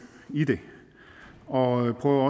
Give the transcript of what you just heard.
i det og prøve at